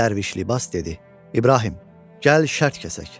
Dərviş libas dedi: "İbrahim, gəl şərt kəsək.